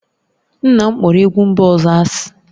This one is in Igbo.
Nna m kpọrọ egwu mba ọzọ asị